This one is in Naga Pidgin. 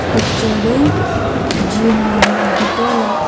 picture te gym laga bitor la --